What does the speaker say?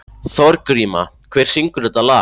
Þorgríma, hver syngur þetta lag?